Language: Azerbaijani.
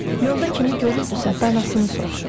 Yolda kimi görürdüsə, danasını soruşurdu.